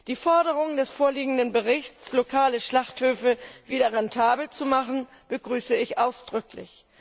Die Forderungen im vorliegenden Bericht, lokale Schlachthöfe wieder rentabel zu machen, begrüße ich ausdrücklich.